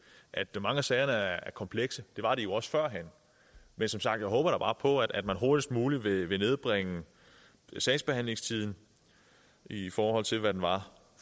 at mange af sagerne er komplekse det var de jo også førhen men som sagt håber jeg da bare på at man hurtigst muligt vil nedbringe sagsbehandlingstiden i forhold til hvad den var